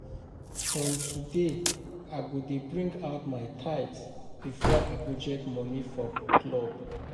From today I go dey bring out my tithe before I budget money for club